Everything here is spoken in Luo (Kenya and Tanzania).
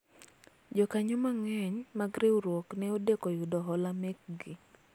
jokanyo mang'eny mag riwruok ne odeko yudo hola mekgi